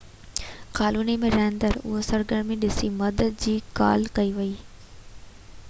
colony ۾ رهندڙ اهو سرگرمي ڏسي مدد جي لاءِ ڪال ڪئي هئي